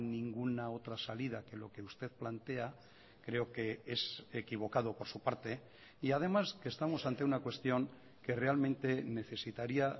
ninguna otra salida que lo que usted plantea creo que es equivocado por su parte y además que estamos ante una cuestión que realmente necesitaría